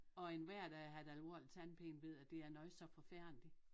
Og en hver der har haft alvorlig tandpine ved at det er noget så forfærdeligt